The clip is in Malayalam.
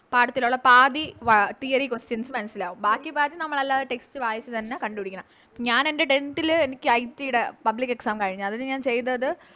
പാഠത്തിലൊള്ള പാതി വ Theory questions മനസ്സിലാവും ബാക്കി പാതി നമ്മളല്ലാതെ Text വായിച്ച് തന്നെ കണ്ട് പിടിക്കണം ഞാനെൻറെ Tenth ൾ എനിക്ക് IT ടെ Public exam കഴിഞ്ഞു അതിന് ഞാൻ ചെയ്തത്